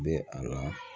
Bɛ a la